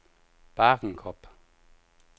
Bagenkop